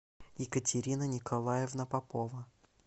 екатерина николаевна попова